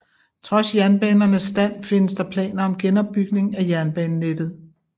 Trods jernbanernes stand findes der planer om genopbygning af jernbanenettet